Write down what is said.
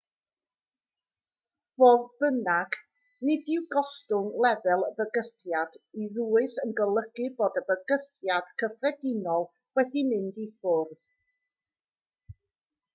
fodd bynnag nid yw gostwng lefel y bygythiad i ddwys yn golygu bod y bygythiad cyffredinol wedi mynd i ffwrdd